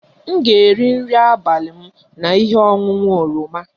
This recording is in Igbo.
M ga-eri nri abalị m na ihe ọṅụṅụ oroma